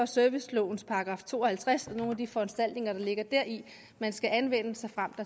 servicelovens § to og halvtreds og nogle af de foranstaltninger der ligger deri man skal anvende såfremt